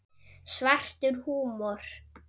Svartur húmor.